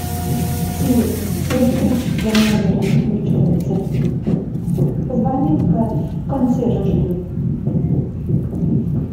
сири электричество в номере не включается позвони консьержу